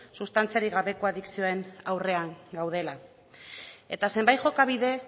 sustantziarik gabeko adikzioen aurrean gaudela eta zenbait jokabide